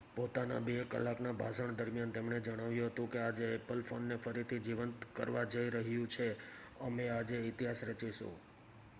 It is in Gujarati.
પોતાના 2 કલાકના ભાષણ દરમિયાન તેમણે જણાવ્યું હતું કે,'આજે એપલ ફોનને ફરીથી જીવંત કરવા જઈ રહ્યું છે અમે આજે ઇતિહાસ રચીશું.''